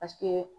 Paseke